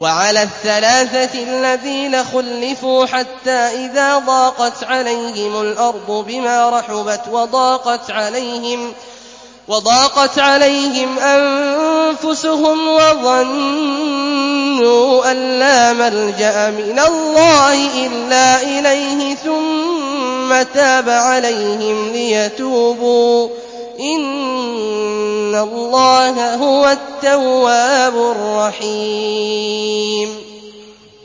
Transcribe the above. وَعَلَى الثَّلَاثَةِ الَّذِينَ خُلِّفُوا حَتَّىٰ إِذَا ضَاقَتْ عَلَيْهِمُ الْأَرْضُ بِمَا رَحُبَتْ وَضَاقَتْ عَلَيْهِمْ أَنفُسُهُمْ وَظَنُّوا أَن لَّا مَلْجَأَ مِنَ اللَّهِ إِلَّا إِلَيْهِ ثُمَّ تَابَ عَلَيْهِمْ لِيَتُوبُوا ۚ إِنَّ اللَّهَ هُوَ التَّوَّابُ الرَّحِيمُ